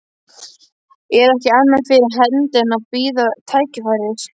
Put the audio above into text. Er ekki annað fyrir hendi en að bíða tækifæris.